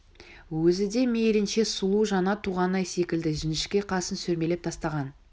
өзі де мейлінше сұлу жаңа туған ай секілді жіңішке қасын сүрмелеп тастаған